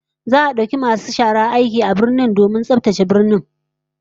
Za'a dauki masu shara a birnin aiki domin tsaftace birnin